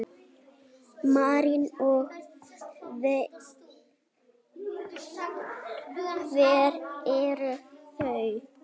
María: Og hver eru þau?